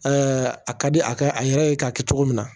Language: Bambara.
a ka di a ka a yɛrɛ ye k'a kɛ cogo min na